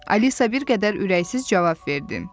Alisa bir qədər ürəksiz cavab verdi.